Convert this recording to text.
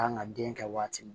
Kan ka den kɛ waati min